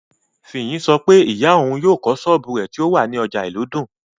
Fiyin sọ pé ìyá òun yóò kọ́ sọ́ọ̀bù rẹ̀ tó wà ní ọjà ìlúdùn